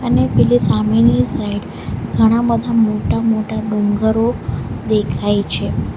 અને પેલી સામેની સાઈડ ઘણા બધા મોટા મોટા ડુંગરો દેખાય છે.